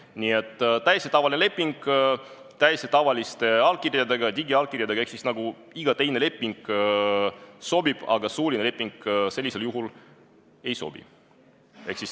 Nii et sobib täiesti tavaline leping täiesti tavaliste allkirjadega, digiallkirjadega – ehk siis igasugune leping sobib, aga suuline leping ei sobi.